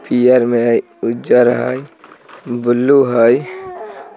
--Blue है नजर में टेबुल है बहुत सारे टेबुल है।